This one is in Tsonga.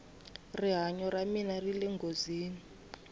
rihanyo ra mina rile nghozini